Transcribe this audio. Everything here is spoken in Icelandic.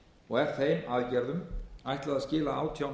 og er þeim aðgerðum ætlað að skila átján